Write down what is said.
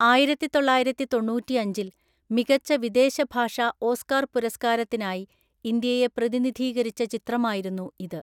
ആയിരത്തിതൊള്ളായിരത്തിതൊണ്ണൂറ്റിഅഞ്ചില്‍ മികച്ച വിദേശഭാഷാ ഓസ്കാർ പുരസ്കാരത്തിനായി ഇന്ത്യയെ പ്രതിനിധീകരിച്ച ചിത്രമായിരുന്നു ഇത്.